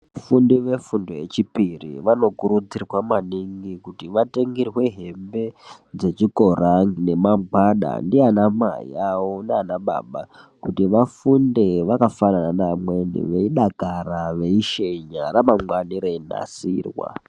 Vafundi vefundo yechipiri vanokurudzirwa maningi kuti vatengerwe hembe dzechikora nemagwada ndianamai avo naanababa. Kuti vafunde vakafanana neamweni veidakara, veishenya. Ramangwana ravo reinasirwa.